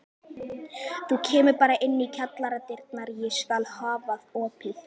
Þú kemur bara inn um kjallaradyrnar, ég skal hafa opið.